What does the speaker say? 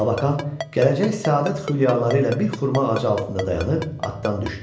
Labakan gələcək səadət xülyaları ilə bir xurma ağacı altında dayanıb atdan düşdü.